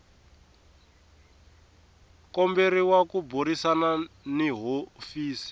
komberiwa ku burisana ni hofisi